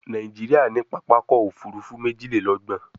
Nàìjíríà ní pápá ọkọ̀-òfurufú méjìlélọ́gbọ̀n